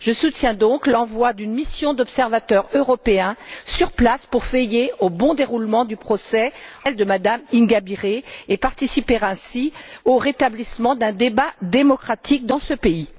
Je soutiens donc l'envoi d'une mission d'observateurs européens sur place pour veiller au bon déroulement en appel du procès de Mme Ingabire et participer ainsi au rétablissement d'un débat démocratique dans ce pays.